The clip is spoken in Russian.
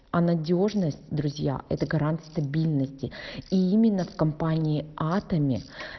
а надёжность друзья это гарант стабильности и именно в компании атоми